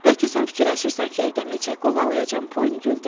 Bəlkə sən fikirləşirsən ki, evdə milçək qovalayacam, Pony güldü.